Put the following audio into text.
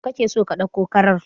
Yaushe kake so ka ɗauko kakar?